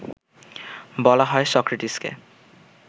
বলা হয় সক্রেটিসকে